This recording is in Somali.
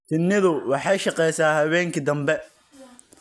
Shinnidu waxay shaqeysaa habeenkii dambe.